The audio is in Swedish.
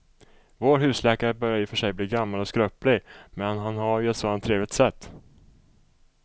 Vår husläkare börjar i och för sig bli gammal och skröplig, men han har ju ett sådant trevligt sätt!